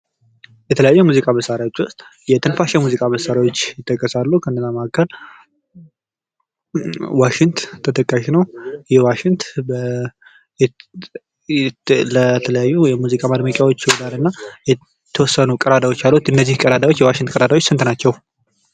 የተለያዩ የሙዚቃ መሳሪያዎች ዉስጥ የትንፋሽ መሳሪያዎች ይጠቀሳሉ ከነዛ መካከል ዋሺንት ተጠቃሽ ነው ይህ ዋሺንት ለተለያዩ የሙዚቃ ማድመቂዎች ይዉላል እና የተወሰኑ ቀዳዳዎች አሉት እነዚህ ቀዳዳዎች ስንት ናቸው?